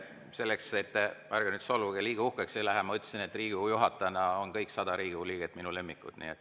Selleks, et te – ärge nüüd solvuge – liiga uhkeks ei läheks: ma ütlesin, et olen Riigikogu juhataja ja kõik 100 Riigikogu liiget on minu lemmikud.